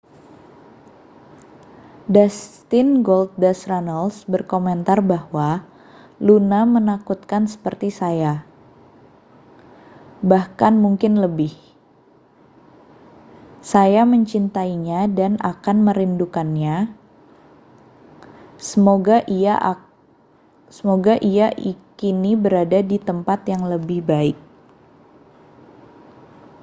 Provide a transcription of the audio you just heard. dustin goldust runnels berkomentar bahwa luna menakutkan seperti saya bahkan mungkin lebih saya mencintainya dan akan merindukannya semoga ia kini berada di tempat yang lebih baik